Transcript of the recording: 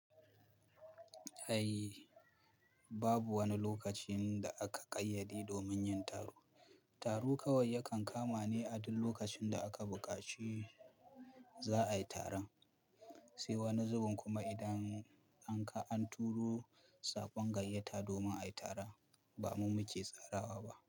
Ai babu wani lokaci da aka ƙayyade domin yin taro. Taro kawai yakan kama ne a duk lokacin da aka buƙaci za'a yi taron. Sai wani zubin kuma idan an turo saƙon gayyata domin a yi taron, ba mu muke tsarawa ba.